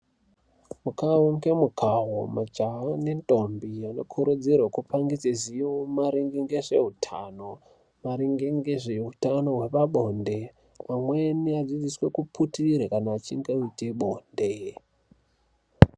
Mukawo ngemukawo majaha nentombi anokurudzirwe kupangidze ruzivo maringe ngezveutano maringe ngezveutano wepabonde pamweni adzidziswe kuputire kana achinge aite bonde.